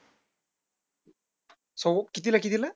सव्वा आठ ते कितीला कितीला?